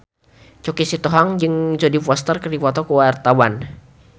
Choky Sitohang jeung Jodie Foster keur dipoto ku wartawan